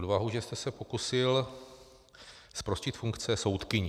Odvahu, že jste se pokusil zprostit funkce soudkyni.